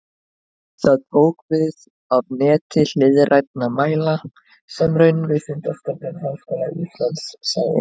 Það tók við af neti hliðrænna mæla sem Raunvísindastofnun Háskóla Íslands sá um.